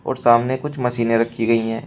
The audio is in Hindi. सामने कुछ मशीनें रखी गई है।